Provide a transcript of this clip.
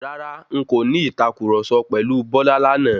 Rárá,n kò ní ìtàkurọ̀sọ pẹ̀lu Bọ́lá lánàá.